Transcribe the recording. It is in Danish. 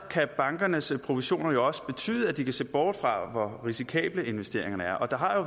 kan bankernes provisioner også betyde at de kan se bort fra hvor risikable investeringerne er der har